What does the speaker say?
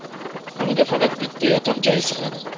Xonaga faqat bitta yotoq joyi sig‘adi.